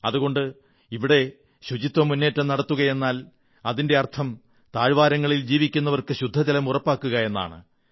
അതുകൊണ്ട് ഇവിടെ ശുചിത്വ മുന്നേറ്റം നടത്തുകയെന്നാൽ അതിന്റെ അർഥം താഴ്വാരങ്ങളിൽ ജീവിക്കുന്നവർക്ക് ശുദ്ധജലം ഉറപ്പാക്കുക എന്നാണ്